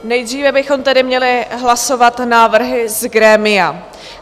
Nejdříve bychom tedy měli hlasovat návrhy z grémia.